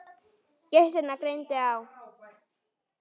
Gestina greindi á.